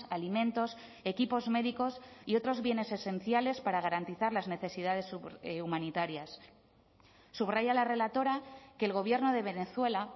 alimentos equipos médicos y otros bienes esenciales para garantizar las necesidades humanitarias subraya la relatora que el gobierno de venezuela